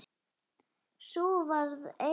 Sú varð einmitt raunin.